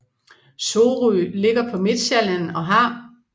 Sorø ligger på Midtsjælland og har